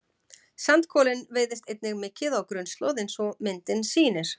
Sandkolinn veiðist einnig mikið á grunnslóð eins og myndin sýnir.